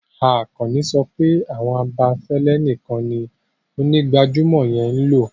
Akànní sọ pé awọn abẹ̀fẹ̀lẹ̀ níkàń ní onígbàjàmọ̀ yẹn n lọ.